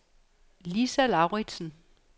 Lisa Lauritsen